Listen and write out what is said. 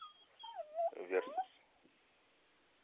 версус